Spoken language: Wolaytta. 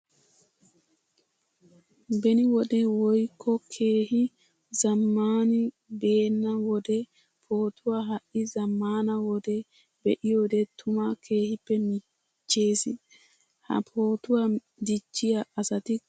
Beni wode woykko keehi zamaani beena wode pootuwa ha'i zamaana wode be'iyoode tuma keehippe miiches. Ha pootuwa de'iya asattikka keehippe lo'ossonna.